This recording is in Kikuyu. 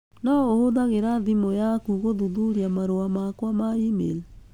no ũhũthagĩra thimũ yaku gũthuthuria marũa makwa ma e-mail